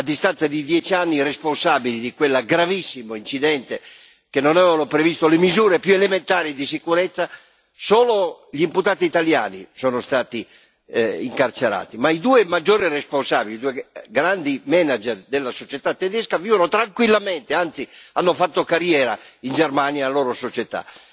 A distanza di dieci anni i responsabili di quel gravissimo incidente, che non avevano previsto le misure più elementari di sicurezza, solo gli imputati italiani sono stati incarcerati, ma i due maggiori responsabili, i due grandi manager della società tedesca vivono tranquillamente, anzi hanno fatto carriera in Germania nella loro società.